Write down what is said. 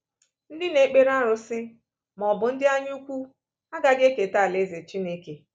Ndị na-ekpere arụsị… ma ọ bụ ndị anyaukwu… agaghị eketa alaeze Chineke.